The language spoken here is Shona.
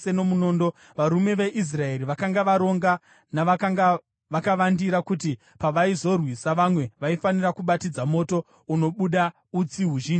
Varume veIsraeri vakanga varonga navakanga vakavandira kuti pavaizorwisa, vamwe vaifanira kubatidza moto unobuda utsi huzhinji muguta,